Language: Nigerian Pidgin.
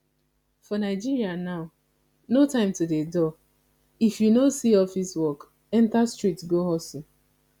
for nigeria now no time to dey dull if you no see office work enter street go hustle